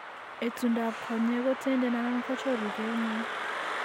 Etundab konyek ko tenden anan ko choruke ng'weny